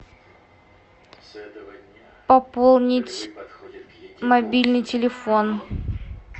пополнить мобильный телефон